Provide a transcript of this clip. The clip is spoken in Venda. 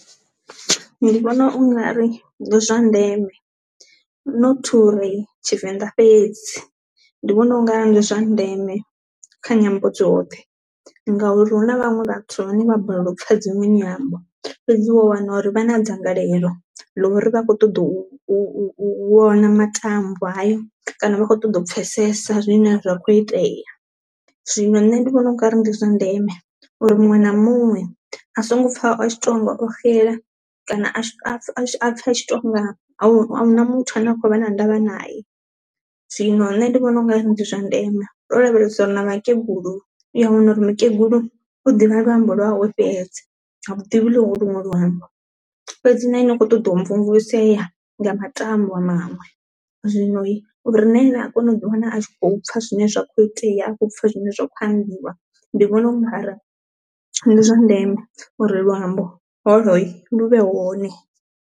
Ndi vhona ungari ndi zwa ndeme not uri tshivenḓa fhedzi, ndi vhona unga ndi zwa ndeme kha nyambo dzoṱhe ngauri hu na vhaṅwe vhathu vhane vha balelwa u pfha dzi mini nyambo fhedzi wa wana uri vha na dzangalelo ḽo ri vha khou ṱoḓa u u u u vhona matambwa hayo kana vha kho ṱoḓa u pfesesa zwine zwa kho itea. Zwino nṋe ndi vhona ungari ndi zwa ndeme uri muṅwe na muṅwe a songo pfha a tshi tonga o xela kana a tshi a a pfhe tonga a huna muthu ane a khou vha na ndavha naye. Zwino nṋe ndi vhona u nga ri ndi zwa ndeme ro lavhelesa uri na vhakegulu uya wana uri mukegulu u ḓivha luambo lwa hawe fhedzi ha ḓivhi luṅwe luambo fhedzi na ene u kho ṱoḓa u mvumvusea nga matambwa maṅwe, zwino hi uri na ene a kona u ḓi wana a tshi khou pfha zwine zwa kho itea a khou pfha zwine zwa kho ambiwa ndi vhona u ngari ndi zwa ndeme uri luambo holo lu vhe hone.